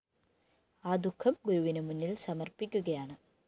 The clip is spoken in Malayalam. ആ ദുഃഖം ഗുരുവിന് മുന്നില്‍ സമര്‍പ്പിക്കുകയാണ്